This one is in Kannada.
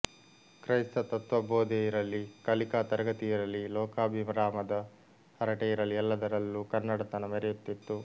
ಕ್ರೈಸ್ತ ತತ್ತ್ವಬೋಧೆಯಿರಲಿ ಕಲಿಕಾ ತರಗತಿಯಿರಲಿ ಲೋಕಾಭಿರಾಮದ ಹರಟೆಯಿರಲಿ ಎಲ್ಲದರಲ್ಲೂ ಕನ್ನಡತನ ಮೆರೆಯುತ್ತಿತ್ತು